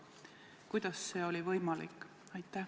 Kuidas see on võimalik?